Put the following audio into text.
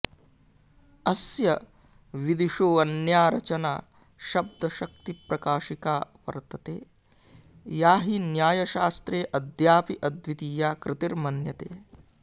अस्य विदुषोऽन्या रचना शब्दशक्तिप्रकाशिका वर्तते या हि न्यायशास्त्रे अद्यापि अद्वितीया कृतिर्मन्यते